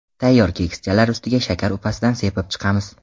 Tayyor kekschalar ustiga shakar upasidan sepib chiqamiz.